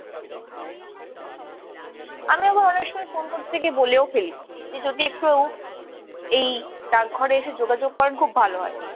আমি আবার অনেক সময় ফোন করতে গিয়ে বলেও ফেলি যে যদি একটু এই ডাক ঘরে এসে যোগাযোগ করেন খুব ভালো হয়।